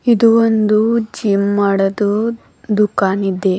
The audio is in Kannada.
ಇದು ಒಂದು ಜಿಮ್ ಮಾಡದು ದುಕಾನ್ ಇದೆ.